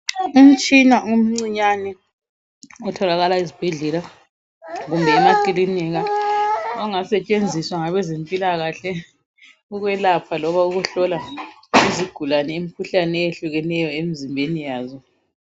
Umtshina omcinyane otholakala ezibhedlela kumbe emakilinika ongasetshenziswa ngabezempila kahle ukwelapha loba ukuhlola izigulane imikhuhlane eyehlukeneyo emizimbeni yazo